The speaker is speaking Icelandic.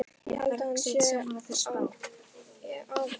Ég held að hann sé af aðalsættum.